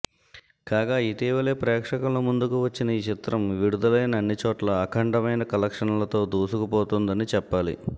కాగా ఇటీవలే ప్రేక్షకుల ముందుకు వచ్చిన ఈ చిత్రం విడుదలైన అన్ని చోట్ల అఖండమైన కలెక్షన్లతో దూసుకుపోతోందని చెప్పాలి